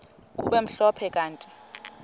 kube mhlophe kanti